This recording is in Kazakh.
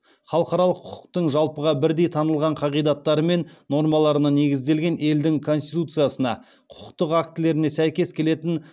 халықаралық құқықтың жалпыға бірдей танылған қағидаттары мен нормаларына негізделген елдің конституциясына құқықтық актілеріне сәйкес келетін